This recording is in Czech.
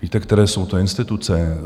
Víte, které jsou to instituce?